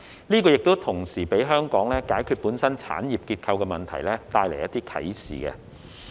這同時給香港解決本身產業結構問題帶來一些啟示。